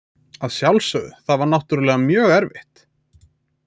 Að sjálfsögðu, það var náttúrulega mjög erfitt.